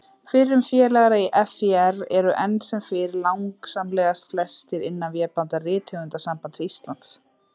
Fyrrum félagar í FÍR eru enn sem fyrr langsamlega flestir innan vébanda Rithöfundasambands Íslands.